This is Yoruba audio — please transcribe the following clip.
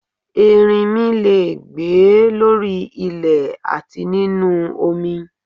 Ẹrinmi le è gbé lórí ilẹ̀ àti nínu omi